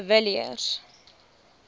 de villiers